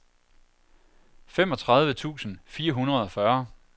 femogtredive tusind fire hundrede og fyrre